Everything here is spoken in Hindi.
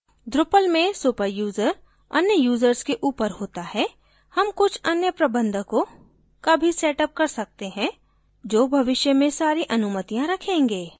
drupal में super यूज़र अन्य users से ऊपर होता है हम कुछ अन्य प्रबंधकों का भी सेटअप कर सकते हैं जो भविष्य में सारी अनुमतियाँ रखेंगे